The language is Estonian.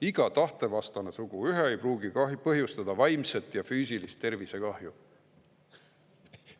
Iga tahtevastane suguühe ei pruugi põhjustada vaimset ja füüsilist tervisekahju"?